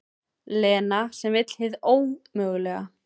Lena sem vill hið ómögulega.